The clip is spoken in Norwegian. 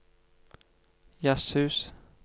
jazzhus